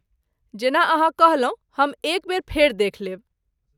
जेना अहाँ कहलहुँ हम एक बेर फेर देखि लेब।